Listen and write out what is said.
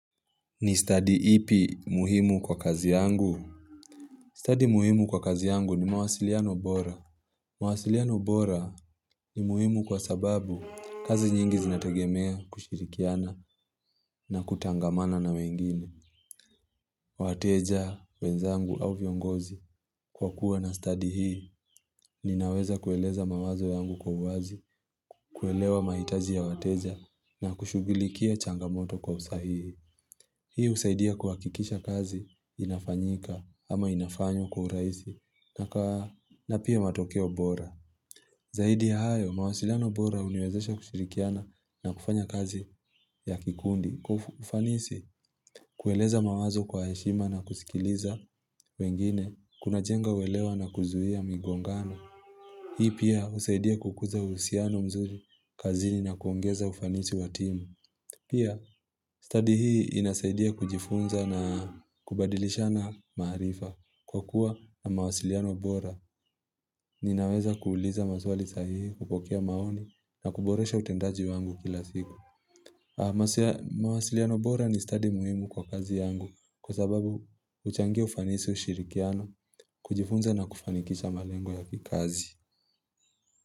Ni study ipi muhimu kwa kazi yangu? Study muhimu kwa kazi yangu ni mawasiliano bora mawasiliano bora ni muhimu kwa sababu kazi nyingi zinategemea kushirikiana na kutangamana na wengine. Wateja wenzangu au viongozi kwa kuwa na study hii ninaweza kueleza mawazo yangu kwa wazi kuelewa maitaji ya wateja na kushugilikia changamoto kwa usahihi Hii usaidia kwa hakikisha kazi inafanyika ama inafanywa kwa urahisi na pia matokeo bora. Zahidi hayo, mawasilano bora uniwezesha kushirikiana na kufanya kazi ya kikundi. Kufanisi, kueleza mawazo kwa heshima na kusikiliza wengine, kuna jenga walewa na kuzuhia migongano. Hii pia usaidia kukuza usiano mzuri kazini na kuongeza ufanisi wa timu. Pia, study hii inasaidia kujifunza na kubadilisha na maharifa kwa kuwa na mawasiliano bora ninaweza kuuliza maswali sahihi, kupokea maoni na kuboresha utendaji wangu kila siku. Mwasiliano bora ni study muhimu kwa kazi yangu kwa sababu huchangia ufanisi ushirikiano kujifunza na kufanikisha malengo ya kikazi.